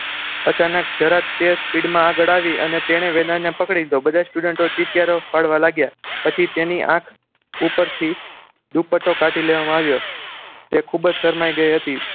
અચાનક જરાક speed માં આવી તેણે વેદાંતને પકડી લીધો બધા student ચીચિયારીઓ પાડવા લાગ્યા પછી તેની આંખ ઉપરથી દુપટ્ટો કાઢી લેવામાં આવ્યું તે ખૂબ જ શરમાઈ ગઈ હતી